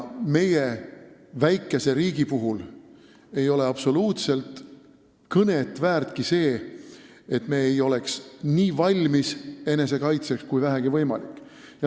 Meie väikese riigi puhul ei ole absoluutselt kõneväärtki see, et me ei oleks enesekaitseks nii valmis kui vähegi võimalik.